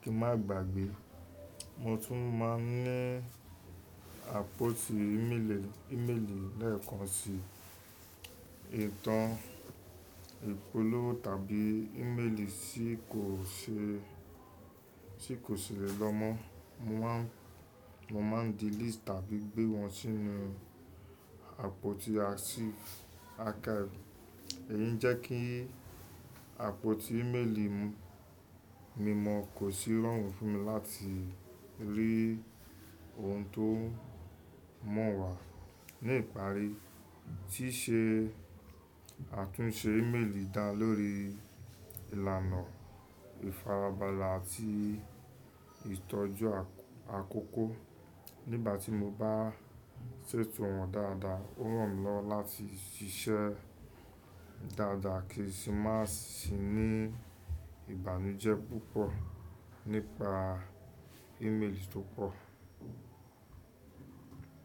kí n má gbàgbé. Mo tún má n ní àpótí ímeèlì, ímeèlì lẹ́ẹ̀kan sí ìtàn ìpolówó tàbí ímeèlì tí kò ṣe, tí kò ṣe rẹ̀ lọ́mọ. Mo má n delete tàbí gbé wọn sínú àpótí àṣí archive. Èyí jẹ́ kí àpótí ímeèlì mi mọ̀ kó sì rọrùn fún mi láti rí ohun tó mọ̀ wà. Ní ìparí, ṣíṣe àtúnṣe ímeèlì dá lórí ìlànà ìfarabalà àti ìtọ́jú àkókò. Nígbà tí mo bá ṣètò wọn dáadáa, ó ràn mí lọ́wọ́ láti ṣiṣẹ́ dáadáa kí n sì má sì ní ìbànújẹ́ púpọ̀ nípa ímeèlì tó pọ̀.